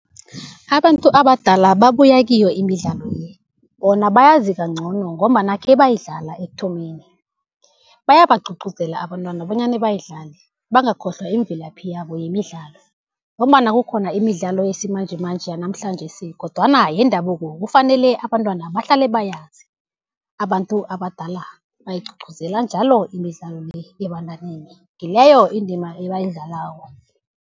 Abantu abadala babuya kiyo imidlalo ye, bona bayazi kancono, ngombana khebayidlala ekuthomeni bayabagcugcuzela abantwana bonyana bayidlale, bangakhohlwa imvelaphi yabo yemidlalo. Ngombana kukhona imidlalo yesimanjemanje yanamhlanjesi kodwana yendabuko kufanele abantwana bahlale bayazi. Abantu abadala bayigcugcuzela njalo imidlalo le ebantwaneni, ngileyo indima ebayidlalako.